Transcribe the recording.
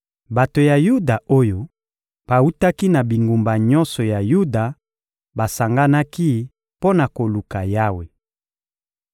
Bato ya Yuda oyo bawutaki na bingumba nyonso ya Yuda basanganaki mpo na koluka Yawe.